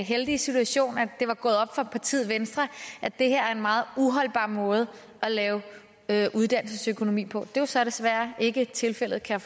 heldige situation at det var gået op for partiet venstre at det her er en meget uholdbar måde at lave uddannelsesøkonomi på det er så desværre ikke tilfældet kan